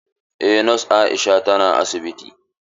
Eh nos Aisha ta na asibiti.